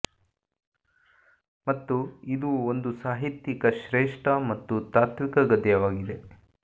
ಮತ್ತು ಇದು ಒಂದು ಸಾಹಿತ್ಯಿಕ ಶ್ರೇಷ್ಠ ಮತ್ತು ತಾತ್ವಿಕ ಗದ್ಯವಾಗಿದೆ